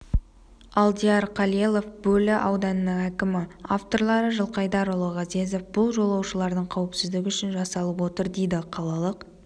алдияр халелов бөрлі ауданының әкімі авторлары жылқайдарұлы ғазезов бұл жолаушылардың қауіпсіздігі үшін жасалып отыр дейді қалалық